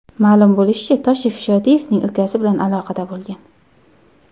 Ma’lum bo‘lishicha, Toshev Shodiyevning ukasi bilan aloqada bo‘lgan.